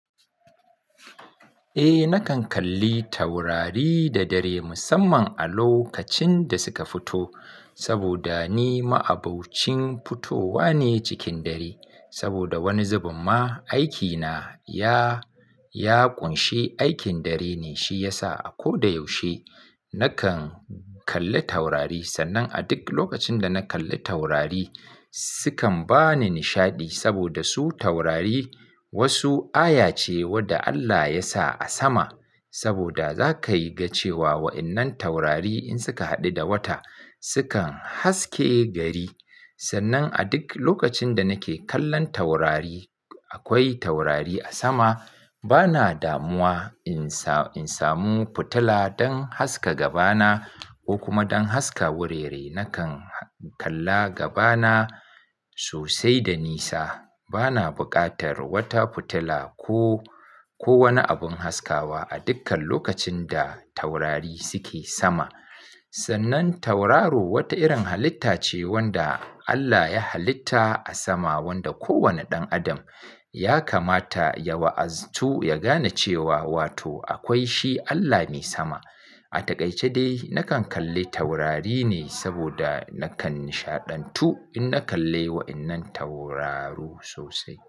Eh, nakan kalli taurari da dare musamman a lokacin da suka fito saboda ni ma'abocin fitowa ne cikin dare. Saboda wani zubin ma aikina ya, ya ƙunshe aikin dare ne, shi yasa a ko da yaushe nakan kalli taurari. Sannan a duk lokacin da na kalli taurari, sukan ba ni nishaɗi saboda su taurari wasu aya ce wadda Allah ya sa a sama saboda za ka yi ganin cewa wa'innan taurari in suka haɗu da wata sukan haske gari. Sannan a duk lokacin da nake kallon taurari, akwai taurari a sama, bana damuwa in sa, in samu fitila don haska gabana ko kuma don haska wurare nakan kalla gabana sosai da nisa. Bana buƙatar wata fitila ko, ko wani abin haskawa a dukkan lokacin da taurari suke sama. Sannan tauraro wata irin halitta ce wanda Allah ya halitta a sama wanda kowane ɗan adam ya kamata ya wa'azatu, ya gane cewa wato akwai shi Allah mai sama. A takaice dai nakan kalli taurari ne saboda nakan nishaɗantu in na kalle wa'innan tauraru sosai.